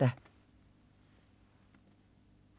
14.03 P3 med Henrik Milling 18.03 P3 med Mette Beck Lisberg (tirs og tors)